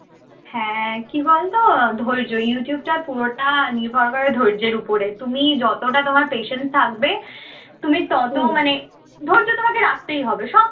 হ্যাঁ কি বলতো ধৈর্য youtube টা পুরোটা নির্ভর করে ধৈর্যের উপরে তুমি যতটা তোমার patience থাকবে তুমি তত মানে ধৈর্য তোমাকে রাখতেই হবে সব